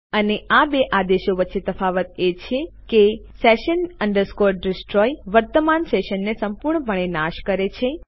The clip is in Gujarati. અને આ બે આદેશો વચ્ચે તફાવત એ છે કે sessions destroy વર્તમાન સેશનને સંપૂર્ણપણે નાશ કરે છે